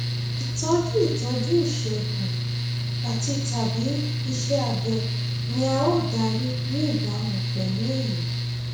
ìtọjú ìtọjú ìṣègùn àtitàbí iṣẹ abẹ ni a ó darí ní ìbámu pẹlú èyí